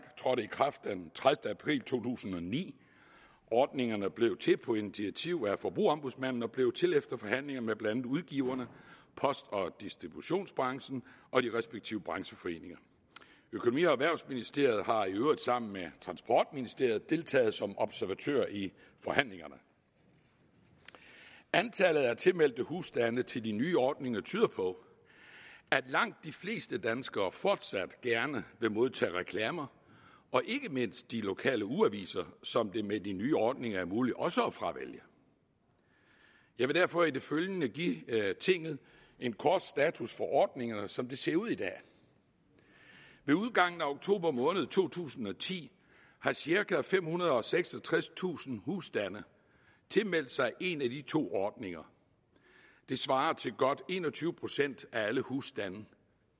trådte i kraft den tredivete april to tusind og ni ordningerne blev til på initiativ af forbrugerombudsmanden og blev til efter forhandlinger med blandt andet udgiverne post og distributionsbranchen og de respektive brancheforeninger økonomi og erhvervsministeriet har i øvrigt sammen med transportministeriet deltaget som observatør i forhandlingerne antallet af tilmeldte husstande til de nye ordninger tyder på at langt de fleste danskere fortsat gerne vil modtage reklamer og ikke mindst de lokale ugeaviser som det med de nye ordninger er muligt også at fravælge jeg vil derfor i det følgende give tinget en kort status for ordningerne som de ser ud i dag ved udgangen af oktober måned to tusind og ti har cirka femhundrede og seksogtredstusind husstande tilmeldt sig en af de to ordninger det svarer til godt en og tyve procent af alle husstande